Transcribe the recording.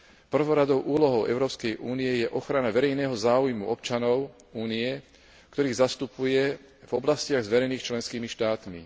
Prvoradou úlohou Európskej únie je ochrana verejného záujmu občanov Únie, ktorých zastupuje v oblastiach zverených členskými štátmi.